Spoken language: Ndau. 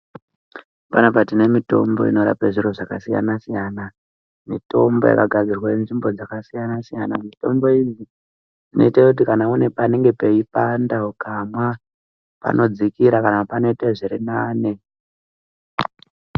Panapa tine mitombo inorape zviro zvakasiyana-siyana, mitombo yakagadzirwe nzvimbo dzakasiyana-siyana. Mitombo iyi inoite kuti kana une panenge peipanda ukamwa panodzikira kana panoite zvirinani.